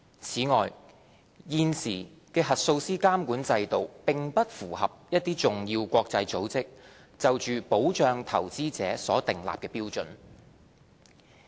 此外，現時的核數師監管制度並不符合一些重要國際組織關於保障投資者的標準。